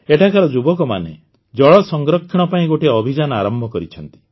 ଏଠାକାର ଯୁବକମାନେ ଜଳ ସଂରକ୍ଷଣ ପାଇଁ ଗୋଟିଏ ଅଭିଯାନ ଆରମ୍ଭ କରିଛନ୍ତି